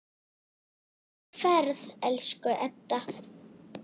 Góða ferð, elsku Edda.